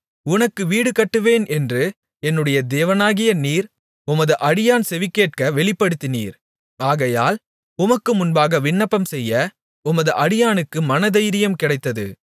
உனக்கு வீடு கட்டுவேன் என்று என்னுடைய தேவனாகிய நீர் உமது அடியான் செவிகேட்க வெளிப்படுத்தினீர் ஆகையால் உமக்கு முன்பாக விண்ணப்பம்செய்ய உமது அடியானுக்கு மனதைரியம் கிடைத்தது